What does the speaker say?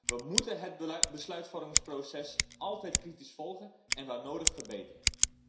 We moeten het besluitvormingsproces altijd kritisch volgen en waar nodig verbeteren.